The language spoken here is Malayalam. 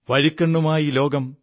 വഴിക്കണ്ണുമായി ലോകം